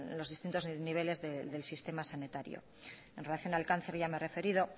los distintos niveles del sistema sanitario en relación al cáncer ya me he referido